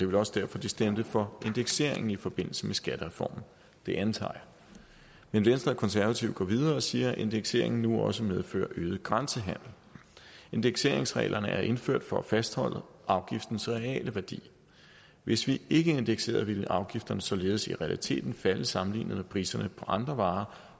vel også derfor de stemte for indekseringen i forbindelse med skattereformen det antager jeg men venstre og konservative går videre og siger at indekseringen nu også medfører øget grænsehandel indekseringsreglerne er indført for at fastholde afgiftens reale værdi hvis vi ikke indekserede ville afgifterne således i realiteten falde sammenlignet med priserne på andre varer